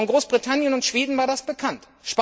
Bei Großbritannien und Schweden war das bekannt.